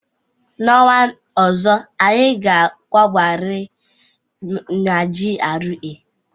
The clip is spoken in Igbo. N'ọnwa ọzọ, anyị ga akwabariri n'GRA!